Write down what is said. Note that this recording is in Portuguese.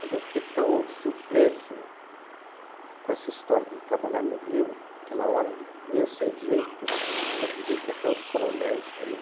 Mas eu fiquei tão surpreso com essa história de trabalhar no Rio, naquela hora, meio sem jeito, cheio de gente, até os coronéis também.